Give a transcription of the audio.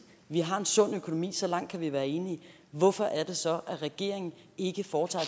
vi har en sund økonomi så langt kan vi være enige hvorfor er det så at regeringen ikke foretager